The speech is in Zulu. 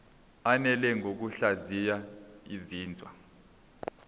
ananele ngokuhlaziya izinzwa